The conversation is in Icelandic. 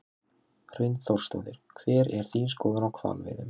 Hrund Þórsdóttir: Hver er þín skoðun á hvalveiðum?